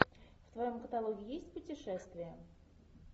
в твоем каталоге есть путешествия